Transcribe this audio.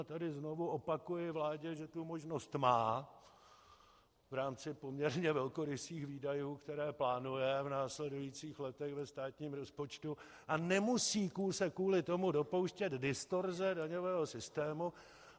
A tady znovu opakuji vládě, že tu možnost má v rámci poměrně velkorysých výdajů, které plánuje v následujících letech ve státním rozpočtu, a nemusí se kvůli tomu dopouštět distorze daňového systému.